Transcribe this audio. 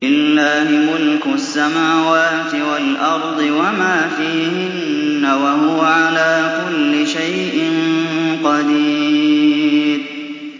لِلَّهِ مُلْكُ السَّمَاوَاتِ وَالْأَرْضِ وَمَا فِيهِنَّ ۚ وَهُوَ عَلَىٰ كُلِّ شَيْءٍ قَدِيرٌ